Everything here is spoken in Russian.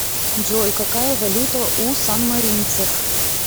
джой какая валюта у санмаринцев